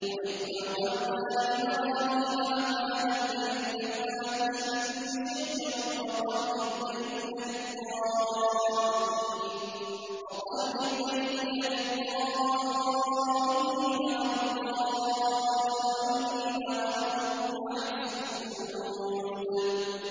وَإِذْ بَوَّأْنَا لِإِبْرَاهِيمَ مَكَانَ الْبَيْتِ أَن لَّا تُشْرِكْ بِي شَيْئًا وَطَهِّرْ بَيْتِيَ لِلطَّائِفِينَ وَالْقَائِمِينَ وَالرُّكَّعِ السُّجُودِ